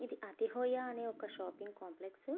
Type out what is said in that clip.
ఇది అతి హోయ అనే ఒక షాపింగ్ కాంప్లెక్స్ .